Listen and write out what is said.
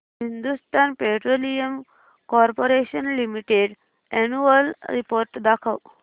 Hindustan Petroleum Corporation Limited annual report दाखव